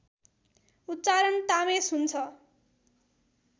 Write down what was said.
उच्चारण तामेस हुन्छ